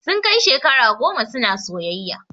Sun kai shekara goma suna soyayya